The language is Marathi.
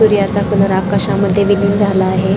सूर्याचा कलर आकाशामध्ये विघ्न झाला आहे.